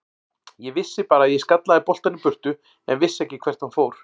Ég vissi bara að ég skallaði boltann í burtu en vissi ekki hvert hann fór.